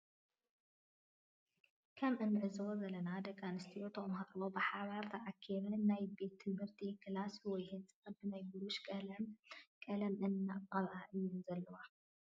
ከም እንዕዘቦ ዘለና ደቂ አንስትዮ ተምሃሮ ብሓባር ተአኪበን ናይ ቤት ትምህርተነ ክላስ ወይ ህንፃ ብናይ ቡሩሽ ቀለም ቀለም እናቀብአ እየን ዘለዎ።